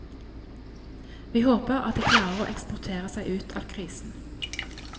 Vi håper at de klarer å eksportere seg ut av krisen.